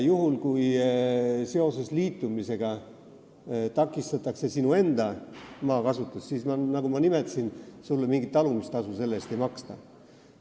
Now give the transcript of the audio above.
Juhul kui sinu liitumisega seoses takistatakse su enda maakasutust, sulle selle eest, nagu ma nimetasin, mingit talumistasu ei maksta.